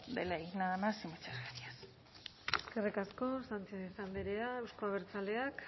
de ley nada más y muchas gracias eskerrik asko sánchez andrea euzko abertzaleak